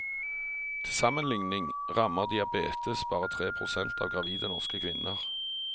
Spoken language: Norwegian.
Til sammenligning rammer diabetes bare tre prosent av gravide norske kvinner.